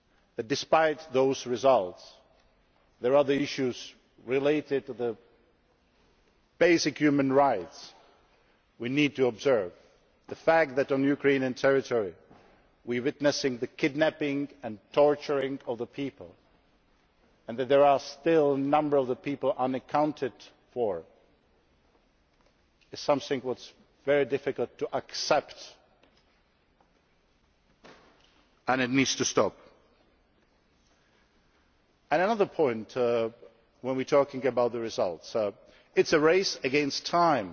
shown that, despite those results, there are other issues related to basic human rights that we need to observe the fact that on Ukrainian terrority we are witnessing the kidnapping and torture of people, and that there are still a number of people unaccounted for, is something which is very difficult to accept, and it needs to stop. Another point when we are talking about results is that this is a race against